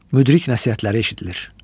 Müdrik nəsihətləri eşidilir.